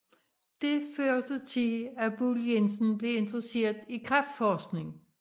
Det førte til at Buhl Jensen blev interesseret i kræftforskning